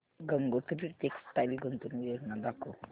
Gangotri textile गुंतवणूक योजना दाखव